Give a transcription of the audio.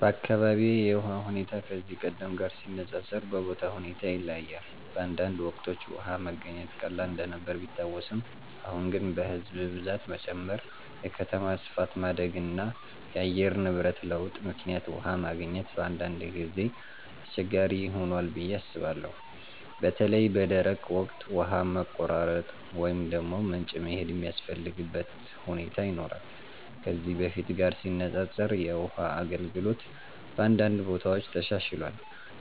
በአካባቢዬ የውሃ ሁኔታ ከዚህ ቀደም ጋር ሲነፃፀር በቦታው ሁኔታ ይለያያል። በአንዳንድ ወቅቶች ውሃ መገኘት ቀላል እንደነበር ቢታወስም፣ አሁን ግን በሕዝብ ብዛት መጨመር፣ የከተማ ስፋት ማደግ እና የአየር ንብረት ለውጥ ምክንያት ውሃ ማግኘት በአንዳንድ ጊዜ አስቸጋሪ ሆኗል ብዬ አስባለሁ። በተለይ በደረቅ ወቅት ውሃ መቆራረጥ ወይም ወደ ምንጭ መሄድ የሚያስፈልግበት ሁኔታ ይኖራል። ከዚህ በፊት ጋር ሲነፃፀር የውሃ አገልግሎት በአንዳንድ ቦታዎች ተሻሽሏል፣